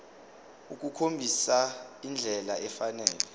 ukukhombisa indlela efanele